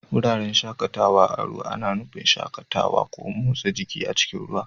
Wuraren shakatawa a ruwa ana nufin shakatawa ko motsa jiki a cikin ruwa.